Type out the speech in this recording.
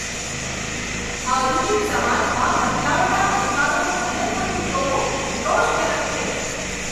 આધુનિક સમાજમાં મહિલાઓના અધિકારોનું હનન થતું જોવું રોષજનક છે.